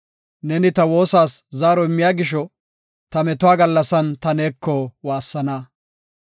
Ne ta woosaas zaaro immiya gisho, ta metuwa gallasan ta neeko waassana.